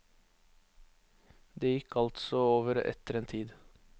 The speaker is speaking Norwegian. Det gikk altså over etter en tid.